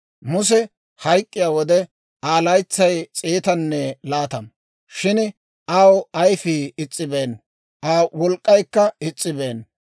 Muse hayk'k'iyaa wode, Aa laytsay s'eetanne laatama; shin aw ayfii is's'ibeenna; Aa wolk'k'aykka is's'ibeenna.